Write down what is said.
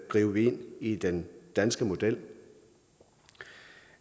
gribe ind i den danske model